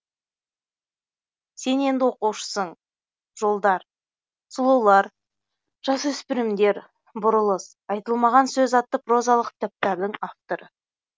сен енді оқушысың жолдар сүлулар жасөспірімдер бұрылыс айтылмаған сөз атты прозалық кітаптардың авторы